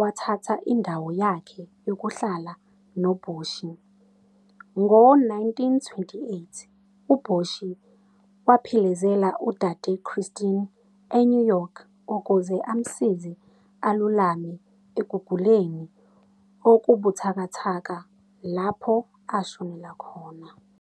wathatha indawo yakhe yokuhlala noBoshi. Ngo-1928 uBoshi waphelezela uDade Christine eNew York ukuze amsize alulame ekuguleni okubuthakathaka, lapho ashonela khona.